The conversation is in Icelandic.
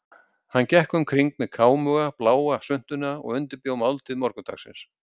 Hann gekk um kring með kámuga, bláa svuntuna og undirbjó máltíð morgundagsins.